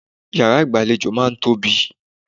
Ìyàrá ìgbàlejò máà ń tóbi.